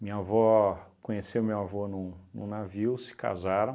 Minha avó, conheceu meu avô num num navio, se casaram,